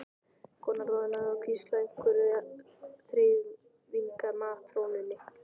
Konan roðnaði og hvíslaði einhverju að þreifingar- matrónunni.